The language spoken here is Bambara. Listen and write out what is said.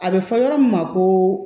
A bɛ fɔ yɔrɔ min ma ko